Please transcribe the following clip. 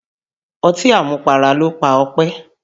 Ọtí àmupara ló pa Ọpẹ́.